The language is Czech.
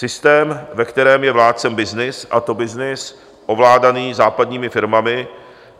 Systém, ve kterém je vládcem byznys a to byznys ovládaný západního firmami.